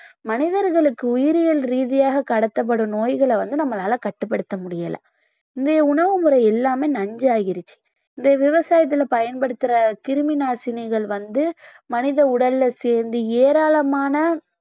மனிதர்களுக்கு உயிரியல் ரீதியாகக் கடத்தப்படும் நோய்களை வந்து நம்மளால கட்டுப்படுத்த முடியல இந்த உணவுமுறை எல்லாமே நஞ்சாயிருச்சு இந்த விவசாயத்தில பயன்படுத்துற கிருமி நாசினிகள் வந்து மனித உடல்ல சேர்ந்து ஏராளமான